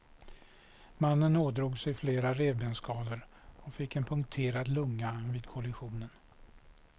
Mannen ådrog sig flera revbensskador och fick en punkterad lunga vid kollisionen.